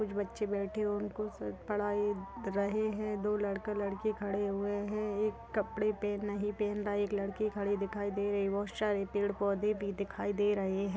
कुछ बच्चे बैठे है उनको सर पड़ा रहे है दो लड़का लड़की खड़े हुए है एक कपड़े पे नई एक लड़की खड़ी दिखाई दे रही है शायद पेड़ पौधे भी दिखाई दे रहे है।